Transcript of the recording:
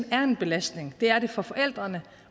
er en belastning det er den for forældrene